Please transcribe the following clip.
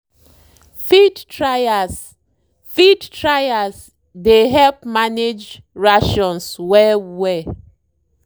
feed trials feed trials dey help manage rations well well.